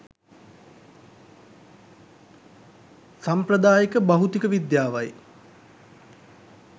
සම්ප්‍රදායික භෞතික විද්‍යාවයි.